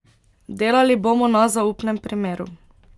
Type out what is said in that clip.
Delali bomo na zaupnem primeru.